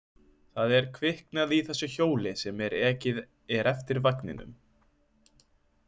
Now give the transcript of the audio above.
Það er kviknað í þessu hjóli sem ekið er eftir veginum.